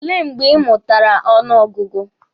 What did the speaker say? O lee mgbe ị mụtara ọnụ ọgụgụ?